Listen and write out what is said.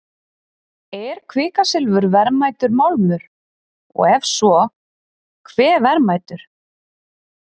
Er kvikasilfur verðmætur málmur og ef svo, hve verðmætur?